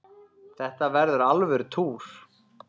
Þetta verður alvöru túr.